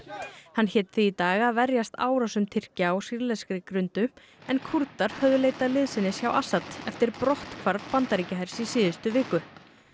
hann hét því í dag að verjast árásum Tyrkja á sýrlenskri grundu en Kúrdar höfðu leitað liðsinnis hjá Assad eftir brotthvarf Bandaríkjahers í síðustu viku